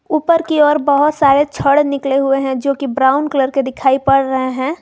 ऊपर की ओर बहुत सारे छड़ निकले हुए हैं जो कि ब्राउन कलर के दिखाई पड़ रहे हैं।